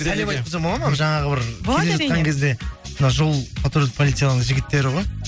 сәлем айтып қойсам болады ма жаңағы бір келе жатқан кезде мынау жол патрульдік полицияның жігіттері ғой